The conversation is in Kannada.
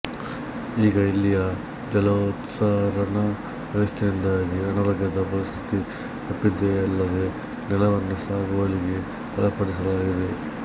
ಈಗ ಇಲ್ಲಿಯ ಜಲೋತ್ಸಾರಣ ವ್ಯವಸ್ಥೆಯಿಂದಾಗಿ ಅನಾರೋಗ್ಯದ ಪರಿಸ್ಥಿತಿ ತಪ್ಪಿದೆಯಲ್ಲದೆ ನೆಲವನ್ನು ಸಾಗುವಳಿಗೆ ಒಳಪಡಿಸಲಾಗಿದೆ